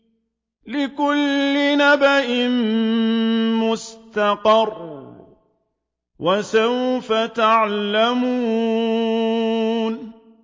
لِّكُلِّ نَبَإٍ مُّسْتَقَرٌّ ۚ وَسَوْفَ تَعْلَمُونَ